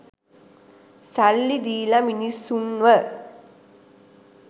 සල්ලි දීල මිනිස්සුන්ව